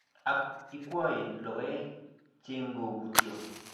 Ak ikwou logoek chegobutyo.